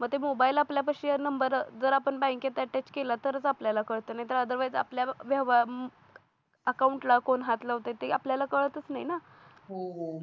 मग ते मोबाईल आपल्यापाशी आहे नंबर जर आपण बँकेत attched केलं तरच आपल्याला कळत नाही otherwise आपल्या अकाउंटला कोण हात लावते ते आपल्याला कळतच नाही ना